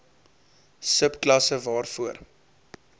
sub klasse waarvoor